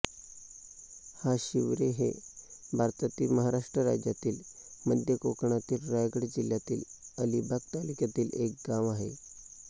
हाशिवरे हे भारतातील महाराष्ट्र राज्यातील मध्य कोकणातील रायगड जिल्ह्यातील अलिबाग तालुक्यातील एक गाव आहे